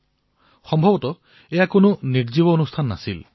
বোধহয় এয়া কোনো নিৰ্জীৱ কাৰ্যসূচী নাছিল